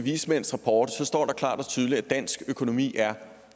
vismænds rapport står der klart og tydeligt at dansk økonomi er